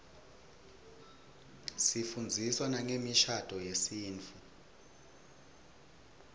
sifundziswa nangemishadvo yesintfu